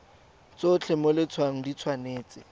tsotlhe mo letshwaong di tshwanetse